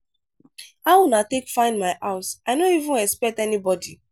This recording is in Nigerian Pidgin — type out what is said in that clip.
how una take find my house? i no even expect anybody.